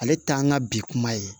Ale t'an ka bi kuma ye